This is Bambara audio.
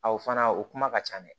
fana o kuma ka ca dɛ